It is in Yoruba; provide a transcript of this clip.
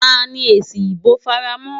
Ta ni èsì ìbò fara mọ́?